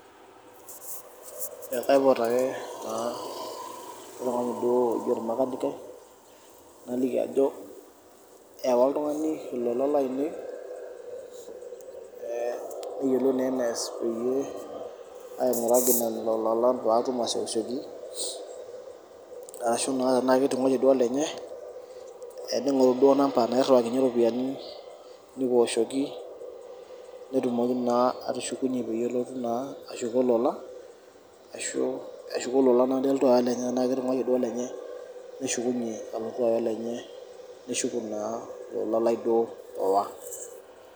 Kaipot ake olmakanikai naliki ajo ewa oltungani ilolalan lainei neyiolou duo enaas aashu tenaketunguayie duo olenye neshuku ilainei nelotu aya olenye